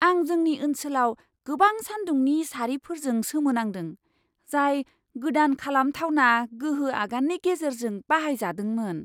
आं जोंनि ओनसोलाव गोबां सान्दुंनि सारिफोरजों सोमोनांदों, जाय गोदान खालामथावना गोहो आगाननि गेजेरजों बाहायजादोंमोन!